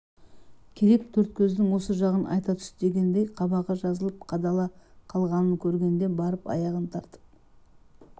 керек төрткөздің осы жағын айта түс дегендей қабағы жазылып қадала қалғанын көргенде барып аяғын тартып